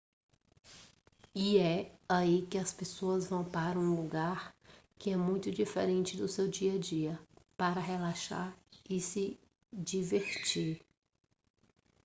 e é aí que as pessoas vão para um lugar que é muito diferente do seu dia a dia para relaxar e se divertir